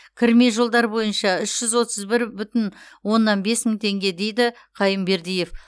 кірме жолдар бойынша үш жүз отыз бір бүтін оннан бес мың теңге дейді қайынбердиев